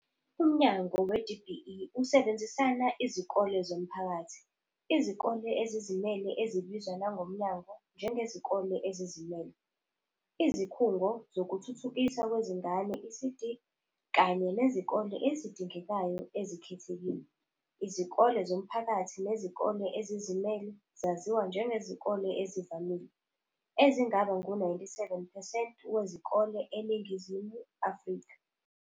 Umnyango we-DBE usebenzisana Izikole zomphakathi, Izikole ezizimele, ezibizwa nangomnyango njengezikole ezizimele, izikhungo zokuthuthukiswa kwezingane, ECD, kanye nezikole ezidingekayo ezikhethekile. Izikole zomphakathi nezikole ezizimele zaziwa njengezikole ezivamile, ezingaba ngu-97 percent wezikole eNingizimu Afrika.